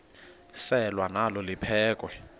selwa nalo liphekhwe